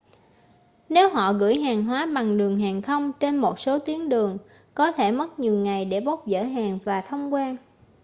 nếu họ gửi hàng hóa bằng đường hàng không trên một số tuyến đường có thể mất nhiều ngày để bốc dỡ hàng và thông quan